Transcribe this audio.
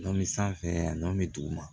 Nɔn mi sanfɛ yani duguma